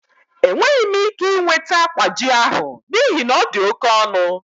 Enweghị m ike ị nweta kwaaji ahụ n'ihi na ọ dị oke ọnụ.